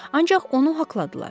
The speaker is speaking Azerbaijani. Ancaq onu haqladılar.